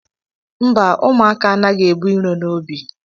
Mba, ụmụaka anaghị ebu iro n'obi